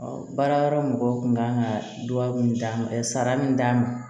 baara yɔrɔ mɔgɔw kun kan ka duwawu d'a ma sara min d'a ma